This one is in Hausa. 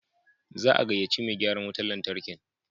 Za a gaya ce mai gyaran wutan lantarkin.